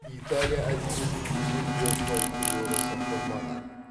италия әдебиетінің ежелгі фольклоры сақталмаған